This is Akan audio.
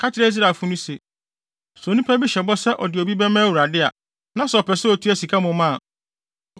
“Ka kyerɛ Israelfo no se, ‘Sɛ onipa bi hyɛ bɔ sɛ ɔde obi bɛma Awurade a, na sɛ ɔpɛ sɛ otua sika mmom a,